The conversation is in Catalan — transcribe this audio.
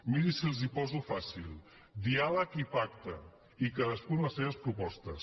miri si els ho poso fàcil diàleg i pacte i cadascú amb les seves propostes